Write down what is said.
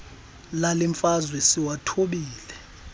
lale mfazwe siwathobile